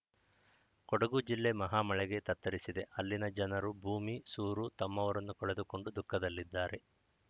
ಕೊಡಗು ಜಿಲ್ಲೆ ಮಹಾಮಳೆಗೆ ತತ್ತರಿಸಿದೆ ಅಲ್ಲಿನ ಜನರು ಭೂಮಿ ಸೂರು ತಮ್ಮವರನ್ನು ಕಳೆದುಕೊಂಡು ದುಃಖದಲ್ಲಿದ್ದಾರೆ